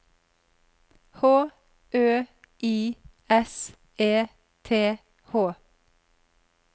H Ø I S E T H